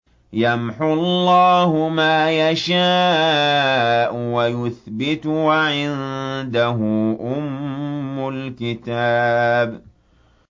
يَمْحُو اللَّهُ مَا يَشَاءُ وَيُثْبِتُ ۖ وَعِندَهُ أُمُّ الْكِتَابِ